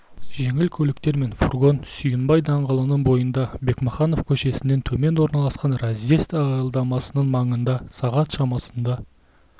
жеңіл көліктер мен фургон сүйінбай даңғылының бойында бекмаханов көшесінен төмен орналасқан разъезд аялдамасының маңында сағат шамасында